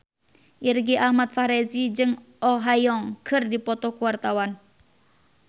Irgi Ahmad Fahrezi jeung Oh Ha Young keur dipoto ku wartawan